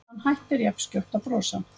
Hann hættir jafnskjótt að brosa.